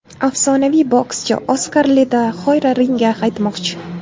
Afsonaviy bokschi Oskar de la Hoya ringga qaytmoqchi.